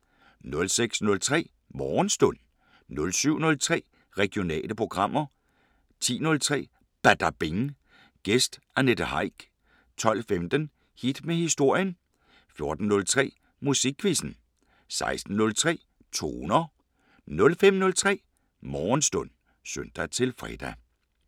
06:03: Morgenstund 07:03: Regionale programmer 10:03: Badabing: Gæst Annette Heick 12:15: Hit med historien 14:03: Musikquizzen 16:03: Toner 05:03: Morgenstund (søn-fre)